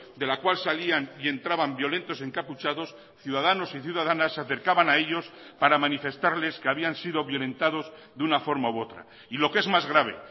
de la cual salían y entraban violentos encapuchados ciudadanos y ciudadanas se acercaban a ellos para manifestarles que habían sido violentados de una forma u otra y lo que es más grave